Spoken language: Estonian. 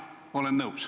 Jah, olen nõus.